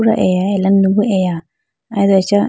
pura eya ala nu bo eya aye do acha.